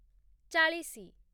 ଚାଳିଶି